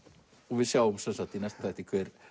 við sjáum í næsta þætti hver